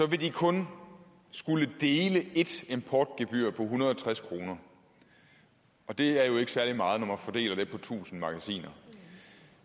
vil de kun skulle dele et importgebyr på en hundrede og tres kroner og det er jo ikke særlig meget når man fordeler det på tusind magasiner